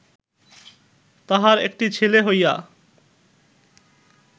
তাহার একটি ছেলে হইয়া